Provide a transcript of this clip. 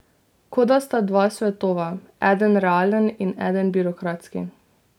Kot da sta dva svetova, eden realen in eden birokratski.